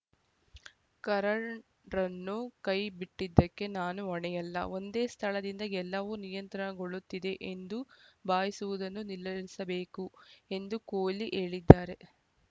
ಕರುಣ್‌ರನ್ನು ಕೈಬಿಟ್ಟಿದ್ದಕ್ಕೆ ನಾನು ಹೊಣೆಯಲ್ಲ ಒಂದೇ ಸ್ಥಳದಿಂದ ಎಲ್ಲವೂ ನಿಯಂತ್ರಣಗೊಳ್ಳುತ್ತಿದೆ ಎಂದು ಭಾವಿಸುವುದನ್ನು ನಿಲ್ಲಿಸಬೇಕು ಎಂದು ಕೊಹ್ಲಿ ಹೇಳಿದ್ದಾರೆ